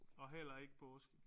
Og heller ikke påske